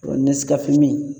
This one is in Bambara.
Nɛskafe min